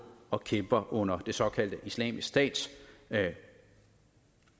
og kæmper under den såkaldte islamisk stats